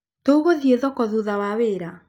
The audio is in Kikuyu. Tũgĩthiĩ thoko thutha wa wĩra?